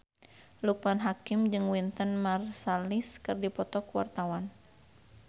Loekman Hakim jeung Wynton Marsalis keur dipoto ku wartawan